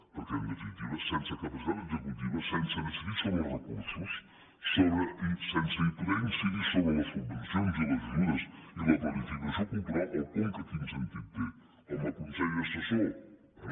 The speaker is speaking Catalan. perquè en definitiva sense capacitat executiva sense decidir sobre els recursos sense poder incidir sobre les subvencions i les ajudes i la planificació cultural el conca quin sentit té com a consell assessor bé